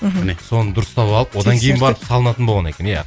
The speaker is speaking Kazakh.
мхм міне соны дұрыстап алып одан кейін барып салынатын болған екен иә